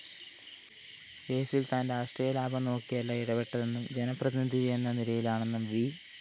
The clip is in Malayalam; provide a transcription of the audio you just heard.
കേസില്‍ താന്‍ രാഷ്ട്രീയലാഭം നോക്കിയല്ല ഇടപെട്ടതെന്നും ജനപ്രതിനിധിയെന്ന നിലയിലാണെന്നും വി